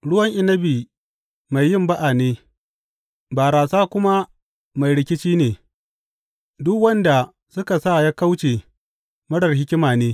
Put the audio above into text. Ruwan inabi mai yin ba’a ne, barasa kuma mai rikici ne; duk wanda suka sa ya kauce marar hikima ne.